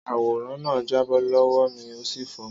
Àwó na jàbọ́ lọwọ mi òsí fọ.